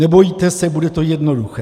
Nebojte se, bude to jednoduché.